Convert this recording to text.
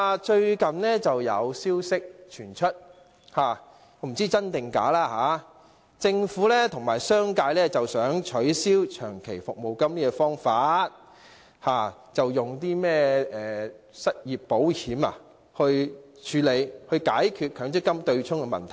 最近有不知真假的消息傳出，指政府和商界想取消長期服務金，改以失業保險來處理和解決強積金對沖問題。